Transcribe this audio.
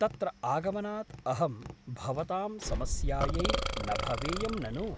तत्र आगमनात् अहं भवतां समस्यायै न भवेयं ननु ?